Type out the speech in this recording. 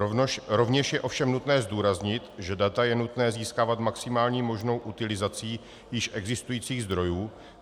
Rovněž je ovšem nutné zdůraznit, že data je nutné získávat maximální možnou utilizací již existujících zdrojů.